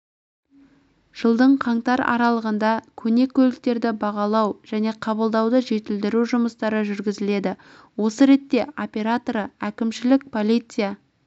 жылдың қаңтар аралығында көне көліктерді бағалау және қабылдауды жетілдіру жұмыстары жүргізіледі осы ретте операторы әкімшілік полиция